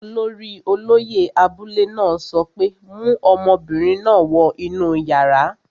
Olórí olóyẹ̀ abúlé náà sọ pé, 'mu ọmọbìnrin náà wọ inú yàrá!